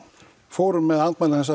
fórum með andmæli hans